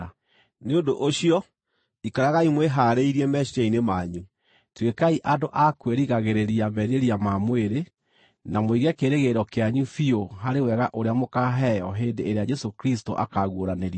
Nĩ ũndũ ũcio, ikaragai mwĩhaarĩirie meciiria-inĩ manyu; tuĩkai andũ a kwĩrigagĩrĩria merirĩria ma mwĩrĩ; na mũige kĩĩrĩgĩrĩro kĩanyu biũ harĩ wega ũrĩa mũkaaheo hĩndĩ ĩrĩa Jesũ Kristũ akaaguũranĩrio.